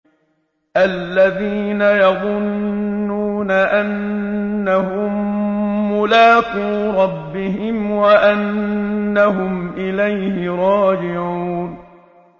الَّذِينَ يَظُنُّونَ أَنَّهُم مُّلَاقُو رَبِّهِمْ وَأَنَّهُمْ إِلَيْهِ رَاجِعُونَ